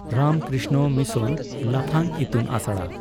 Ramakrishna mission ᱞᱟᱯᱷᱟᱝ ᱤᱛᱩᱱ ᱟᱥᱲᱟ